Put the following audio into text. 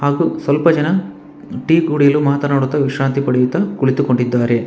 ಹಾಗು ಸ್ವಲ್ಪ ಜನ ಟೀ ಕುಡಿಯಲು ಮಾತಾನಾಡುತ ವಿಶ್ರಾಂತಿ ಪಡೆಯುತ ಕುಳಿತುಕೊಂಡಿದ್ದಾರೆ.